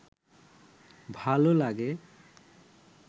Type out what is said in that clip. ভাল লাগে?